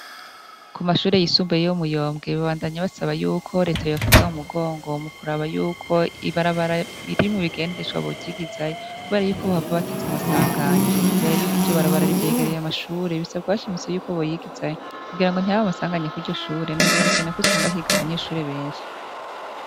Ku mashure yisumbuye yo kumuyombwe babadanya basaba reta ko yobafata mumugongo mukuraba yukoo ibarabara irimwo ingendeshwa boryigizayo kuberayuko ryohava riteza amasanganya kuberako iryo barabara ryegereye amashure risaba ko boryigisayokugira ntiritere amasanganya kwiryo shure na canecane usanga higa abanyeshure benshi